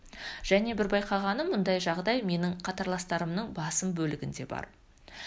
және бір байқағаным мұндай жағдай менің қатарластарымның басым бөлігінде бар